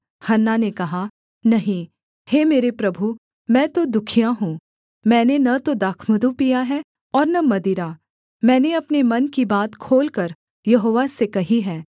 हन्ना ने कहा नहीं हे मेरे प्रभु मैं तो दुःखिया हूँ मैंने न तो दाखमधु पिया है और न मदिरा मैंने अपने मन की बात खोलकर यहोवा से कही है